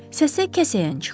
Səsə kəsəyən çıxır.